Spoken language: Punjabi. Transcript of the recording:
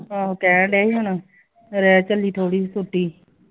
ਆਹੋ ਕਹਿਣ ਡਏ ਸੀ ਹੁਣ ਰਹਿ ਚਲੀ ਥੋੜੀ ਜੀ ਛੁੱਟੀ